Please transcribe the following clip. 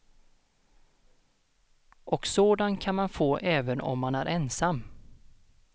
Och sådan kan man få även om man är ensam.